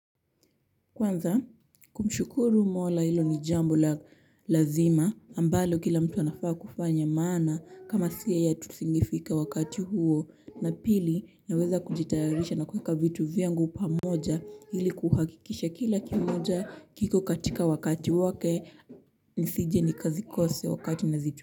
Kwanza kumshukuru mola hilo ni jambo lazima ambalo kila mtu anafaa kufanya maana kama si yeye tusingefika wakati huo na pili naweza kujitayarisha na kuviweka vitu vyangu pamoja ili kuhakikisha kila kimoja kiko katika wakati wake nisije nikazikosa wakati nazichu.